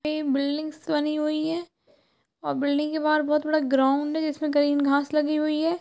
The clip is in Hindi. एक बिल्डिंग्स बनी हुई है और बिल्डिंग के बाहर बहुत बड़ा ग्राउंड है जिसमे ग्रीन घास लगी हुई है।